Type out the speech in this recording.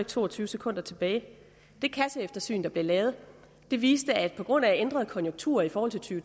to og tyve sekunder tilbage det kasseeftersyn der blev lavet viste at det på grund af ændrede konjunkturer i forhold til